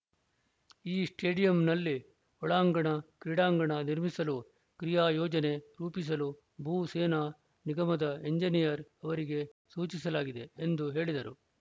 ಈ ಸ್ಟೇಡಿಯಂನಲ್ಲಿ ಒಳಾಂಗಣ ಕ್ರೀಡಾಂಗಣ ನಿರ್ಮಿಸಲು ಕ್ರಿಯಾ ಯೋಜನೆ ರೂಪಿಸಲು ಭೂ ಸೇನಾ ನಿಗಮದ ಎಂಜಿನಿಯರ್‌ ಅವರಿಗೆ ಸೂಚಿಸಲಾಗಿದೆ ಎಂದು ಹೇಳಿದರು